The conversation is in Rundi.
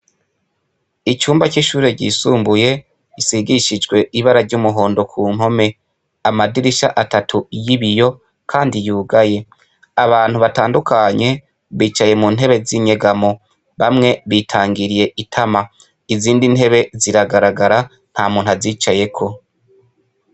Icumba c'ishure ryisumbuye isigishijwe ibara ry'umuhondo ku nkome amadirisha atatu y'ibiyo, kandi yugaye abantu batandukanye bicaye mu ntebe z'inyegamo bamwe bitangiriye itama izindi ntebe ziragaragara nta muntu azicayeko.